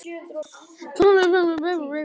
En hverju spáir greining Íslandsbanka?